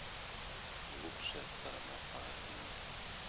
лучшая сторона паолины